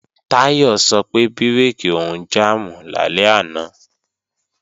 Táyọ̀ sọ pé bírèkì òun jàmù lálẹ́ àná